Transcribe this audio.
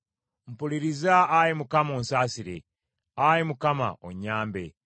Mpuliriza, Ayi Mukama , onsaasire; Ayi Mukama , onnyambe.”